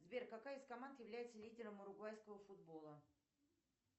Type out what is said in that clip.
сбер какая из команд является лидером уругвайского футбола